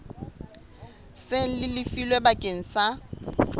seng le lefilwe bakeng sa